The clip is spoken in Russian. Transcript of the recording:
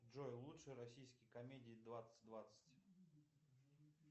джой лучшие российские комедии двадцать двадцать